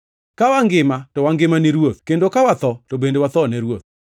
Ka wangima to wangima ni Ruoth; kendo ka watho to bende watho ne Ruoth.